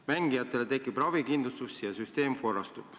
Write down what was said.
Mängijatele tekib ravikindlustus ja süsteem korrastub.